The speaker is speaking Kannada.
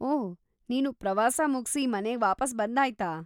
ಓಹ್‌, ನೀನು ಪ್ರವಾಸ ಮುಗ್ಸಿ ಮನೆಗ್ ವಾಪಸ್‌ ಬಂದಾಯ್ತಾ?